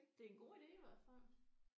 Det er en god ide i hvert fald